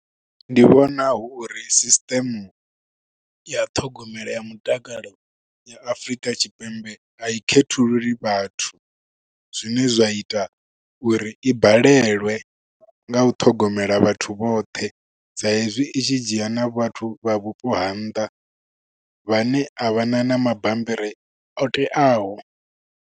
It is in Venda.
Ndi vhona hu uri system ya ṱhogomelo ya mutakalo ya Afrika Tshipembe a i khethululi vhathu, zwine zwa ita uri i balelwe nga u ṱhogomela vhathu vhoṱhe. Sa hezwi i tshi dzhia na vhathu vha vhupo ha nnḓa, vhane a vhana na mabammbiri o teaho.